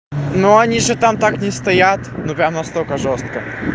но они же там так не стоят ну прям настолько жёстко